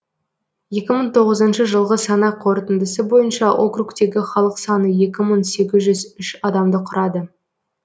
екі мың тоғызыншы жылғы санақ қорытындысы бойынша округтегі халық саны екі мың сегізжүз үш адамды құрады